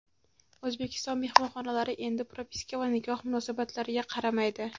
O‘zbekiston mehmonxonalari endi propiska va nikoh munosabatlariga qaramaydi.